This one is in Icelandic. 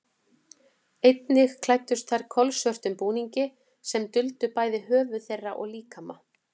Einnig klæddust þær kolsvörtum búningum sem huldu bæði höfuð þeirra og líkama.